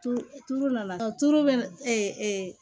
Tulu tulu nana tulu bɛ